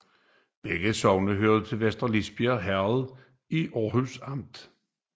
Begge sogne hørte til Vester Lisbjerg Herred i Aarhus Amt